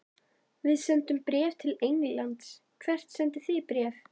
Við sendum bréf til Englands. Hvert sendið þið bréf?